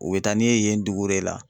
U be taa ni yen yen dugu de la